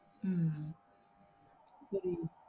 உம் புரியுது